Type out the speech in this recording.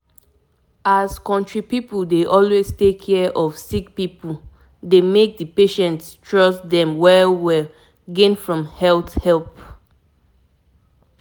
to tell you the truth since i start to actually make time to walk e don help me feel more balanced and healthy.